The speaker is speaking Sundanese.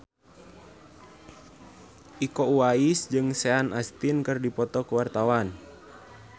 Iko Uwais jeung Sean Astin keur dipoto ku wartawan